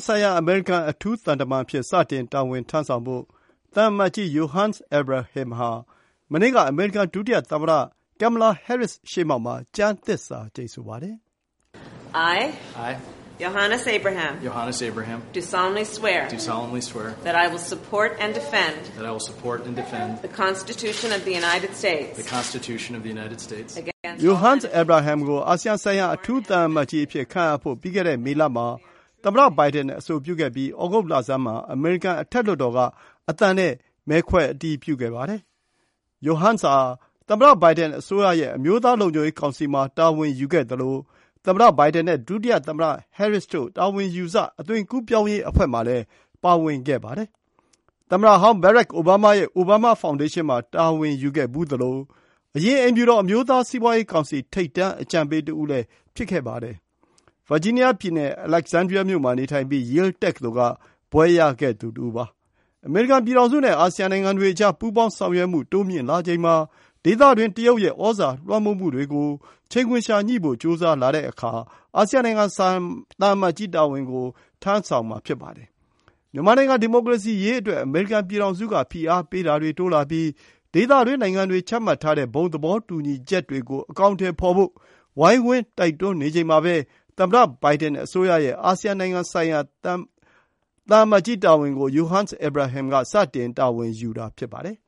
ဆိုင်ရာ အမေရိကန် အထူးသံတမန်အဖြစ် စတင်တာဝန်ထမ်းဆောင်ဖို့ သံအမတ်ကြီး Yohannes Abraham မနေ့က အမေရိကန် ဒုသမ္မတ Kamala Harris ရှေ့မှောက်မှာ ကျမ်းသစ္စာကျိန်ဆိုပါတယ်။ Yohannes Abraham ကို အာဆီယံဆိုင်ရာ အထူးသံအမတ်ကြီးအဖြစ် ခန့်အပ်ဖို့ ပြီးခဲ့တဲ့ မေလမှာ သမ္မတဘိုင်ဒန် အဆိုပြုခဲ့ပြီး သြဂုတ်လဆန်းမှာ အမေရိကန် အထက်လွှတ်တော်က အသံနဲ့ မဲခွဲအတည်ပြုခဲ့ပါတယ်။ Yohannes ဟာ သမ္မတ Biden အစိုးရရဲ့ အမျိုးသားလုံခြုံရေးကောင်စီမှာ တာဝန်ယူခဲ့သလို သမ္မတဘိုင်ဒန်နဲ့ ဒုသမ္မတ Harris တို့ တာဝန်ယူစ၊ အသွင်ကူးပြောင်းရေးအဖွဲ့မှာလည်း ပါဝင်ခဲ့ပါတယ်။ သမ္မတဟောင်း ဘရက်အိုဘားမား ရဲ့ အိုဘားမား ဖောင်းဒေးရှင်းမှာ တာဝန်ယူခဲ့ဖူးသလို အရင် အိမ်ဖြူတော် အမျိုးသား စီးပွားရေးကောင်စီ ထိပ်တန်း အကြံပေးတဦးလည်း ဖြစ်ခဲ့ပါတယ်။ ဗာဂျီးနီးယားပြည်နယ် Alexandria မြို့မှာနေထိုင်ပြီး Yale တက္ကသိုလ်က ဘွဲ့ရခဲ့သူ တဦးဖြစ်ပါတယ်။ အမေရိကန်ပြည်ထောင်စုနဲ့ အာဆီယံနိုင်ငံတွေအကြား ပူးပေါင်းဆောင်ရွက်မှု တိုးမြှင့်လာချိန်မှာ ဒေသတွင်း တရုတ်ရဲ့သြဇာလွှမ်းမိုးမှုတွေကို ချိန်ခွင်လျှာညှိ့ဖို့ ကြိုးစားလာချိန်မှာ အာဆီယံနိုင်ငံဆိုင်ရာ သံအမတ် ကြီးတာဝန်ကို ထမ်းဆောင်တာပါ။ မြန်မာနိုင်ငံ ဒီမိုကရေစီအရေး အမေရိကန်ပြည်ထောင်စုက ဖိအားပေးမှုတွေတိုးလာပြီး ဒေသတွင်းနိုင်ငံတွေ ချမှတ်ထားတဲ့ ဘုံသဘောတူညီချက်တွေကို အကောင်အထည်ဖော်ရေး ဝိုင်းဝန်း တိုက်တွန်းနေချိန်မှာပဲ သမ္မတ Biden အစိုးရရဲ့ အာဆီယံနိုင်ငံဆိုင်ရာ သံအမတ်ကြီးတာဝန်ကို Yohannes Abraham စတင်တာဝန်ယူတာ ဖြစ်ပါတယ်